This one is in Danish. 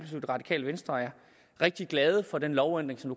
det radikale venstre er rigtig glade for den lovændring som